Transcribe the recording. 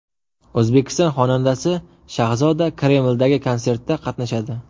O‘zbek xonandasi Shahzoda Kremldagi konsertda qatnashadi.